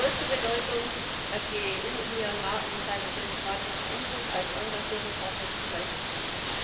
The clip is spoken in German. Es ist von größter Bedeutung, dass die EU Myanmar in seinem demokratischen Umbruch als engagierter Partner zur Seite steht.